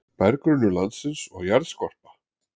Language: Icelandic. Berggrunnur landsins og jarðskorpa